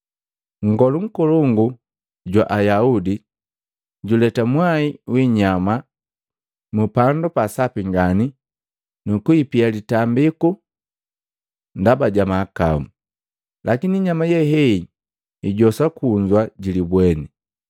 Nngolu nkolongu jwa Ayaudi juleta mwai wiinyama mu Pandu pa Sapi ngani nu kuipia litambiku ndaba ja mahakau, lakini inyama ye hei ijoswa kunza ji libweni.